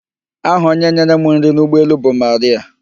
Aha onye nyere m nri n'ụgbọelu bụ Marịạ.